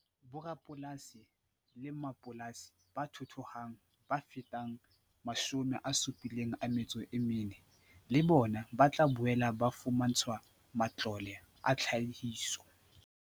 Borapolasi le mmapolasi ba thuthuhang ba fetang 74 000 le bona ba tla boela ba fumantshwa matlole a tlhahiso.